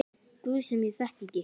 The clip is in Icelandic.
Guð sem ég þekki ekki.